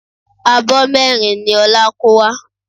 Abọ́ mẹ́rin ni Ọlá kó wá